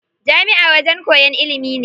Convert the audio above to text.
Jami'a wajen koyan ilimi ne.